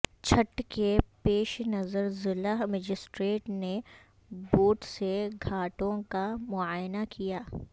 چھٹھ کے پیش نظر ضلع مجسٹریٹ نے بوٹ سے گھاٹوں کا معائنہ کیا